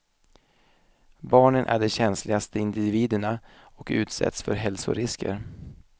Barnen är de känsligaste individerna och utsätts för hälsorisker.